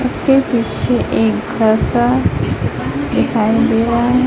उसके पीछे एक घर सा दिखाई दे रहा है।